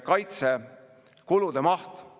Mäletate seda väga emotsionaalset hetke, ma usun, kõik.